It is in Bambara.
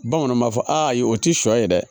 Bamananw b'a fɔ ayi o ti sɔ ye dɛ